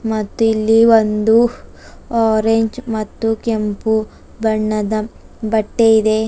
ಮತ್ತಿಲ್ಲಿ ಒಂದು ಆರೇಂಜ ಮತ್ತು ಕೆಂಪು ಬಣ್ಣದ ಬಟ್ಟೆ ಇದೆ.